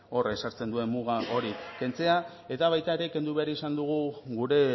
horrek ezartzen duen muga hori kentzea eta baita ere kendu behar izan dugu gure